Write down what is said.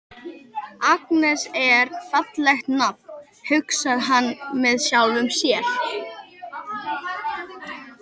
Agnes, það er fallegt nafn, hugsar hann með sjálfum sér.